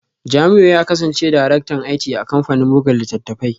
Jamiu ya kasance Daraktan IT a kamfanin buga littattafai